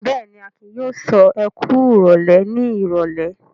Bẹ́ẹ̀ ni, Akin yóò sọ "ẹ kú ìrólé" ní ìrọ́lẹ́.